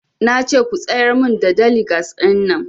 Nace ku tsayar mun da daligas ɗin nan